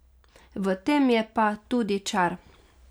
V tem je pa tudi čar.